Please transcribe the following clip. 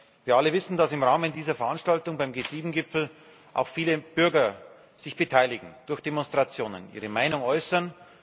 Wir alle wissen, dass sich im Rahmen dieser Veranstaltung beim G7 Gipfel auch viele Bürger beteiligen, durch Demonstrationen ihre Meinung äußern.